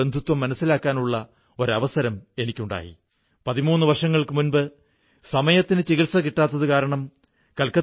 സുഹൃത്തുക്കളേ ദില്ലിയിലെ കോണാട്ട് പ്ലേസിലെ ഖാദി സ്റ്റോറിൽ ഇപ്രാവശ്യം ഗാന്ധി ജയന്തിയുടെ അവസരത്തിൽ ഒരു ദിവസം ഒരുകോടിയിലധികം രൂപയുടെ കച്ചവടം നടന്നു